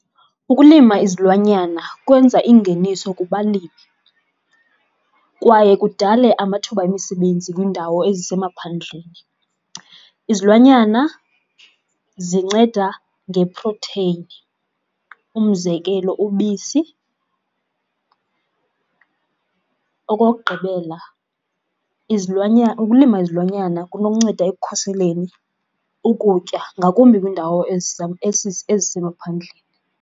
Ukulima izilwanyana kwenza ingeniso kubalimi kwaye kudale amathuba emisebenzi kwiindawo ezisemaphandleni. Izilwanyana zinceda ngeprotheyini, umzekelo ubisi. Okokugqibela ukulima izilwanyana kunokunceda ekukhuseleni ukutya ngakumbi kwiindawo ezisemaphandleni.